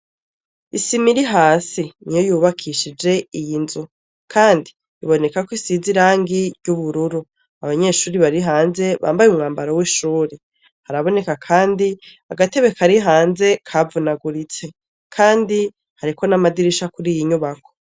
Isima iri hasi niyo yubakishije iy'inzu kandi iboneka ko isize irangi ry'ubururu abanyeshuri barihanze bambaye umwambaro w'ishuri haraboneka kandi agatebe karihanze kavunaguritse kandi hariko n'amadirisha kwiyi nyubako.